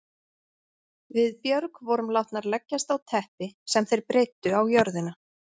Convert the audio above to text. Við Björg vorum látnar leggjast á teppi sem þeir breiddu á jörðina.